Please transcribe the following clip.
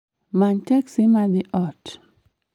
Many teksi ma dhi ot